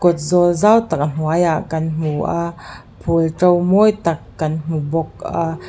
kawt zawl zau tak a hnuaiah kan hmu a phul to mawi tak kan hmu bawk a.